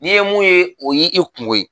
Ni ye mun ye, o y'i i kungo ye